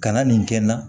Kana nin kɛ n na